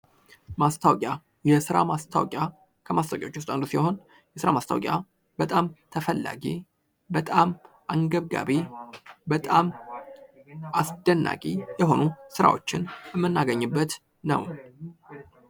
ማስታዎቂያ፦ የስራ ማስታወቂያ፦ ከማስታወቂያዎች ዉስጥ አንዱ ሲሆን የስራ ማስታወቂያ በጣምተፈላጊ ፣በጣም አንገብጋቢ፣ በጣም አስደናቂ ስራዎችን የምናገኝበት ነው።